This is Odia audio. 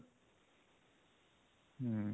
ହୁଁ